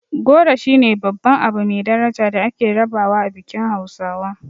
Goro shine babban abu mai daraja da ake rabawa a bikin hausawa.